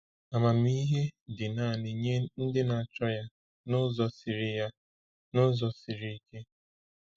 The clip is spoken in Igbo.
Amamihe dị naanị nye ndị na-achọ ya n’ụzọ siri ya n’ụzọ siri ike.